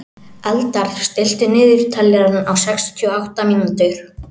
Eldar, stilltu niðurteljara á sextíu og átta mínútur.